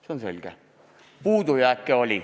See on selge, oli puudujääke.